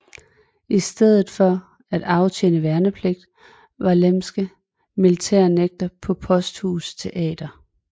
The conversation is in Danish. I stedet for at aftjene værnepligt var Lemmeke militærnægter på Posthus Teatret